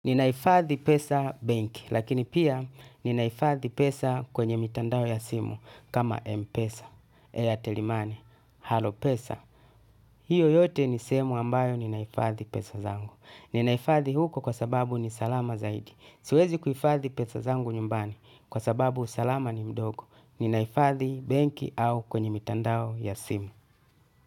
Ninahifadhi pesa benki, lakini pia ninahifadhi pesa kwenye mitandao ya simu, kama Mpesa, airtelimani, Halo pesa. Hiyo yote nisehemu ambayo ninahifadhi pesa zangu. Ninaifadhi huko kwa sababu ni salama zaidi. Siwezi kufadhi pesa zangu nyumbani, kwa sababu usalama ni mdogo. Ninaifadhi banki au kwenye mitandao ya simu.